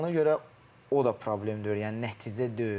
Ona görə o da problem deyil, yəni nəticə deyil.